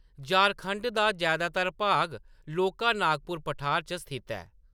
झारखंड दा जैदातर भाग लौह्‌‌‌का नागपुर पठार पर स्थित ऐ।